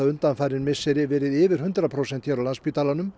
undafarin misseri verið yfir hundrað prósent hér á Landspítalanum